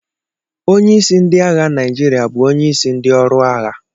Onye isi ndị agha Naijiria bụ onye isi ndị ọrụ agha.